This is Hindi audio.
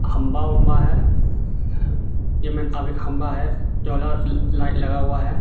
खम्भा वम्भा हे अभी खम्भा हे लाइट लगा हुआ हे.